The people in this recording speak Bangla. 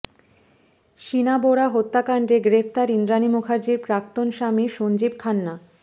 শিনা বোরা হত্যাকাণ্ডে গ্রেফতার ইন্দ্রাণী মুখার্জির প্রাক্তন স্বামী সঞ্জীব খান্না